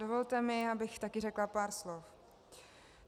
Dovolte mi, abych taky řekla pár slov.